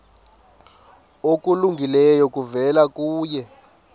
okulungileyo kuvela kuye